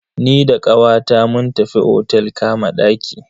Ni da kawata mun tafi otel kama ɗaki.